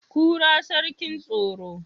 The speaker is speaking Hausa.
kura sarkin tsaro